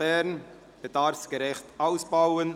Bern bedarfsgerecht ausbauen!